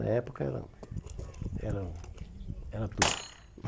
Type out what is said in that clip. Na época, era era era tudo.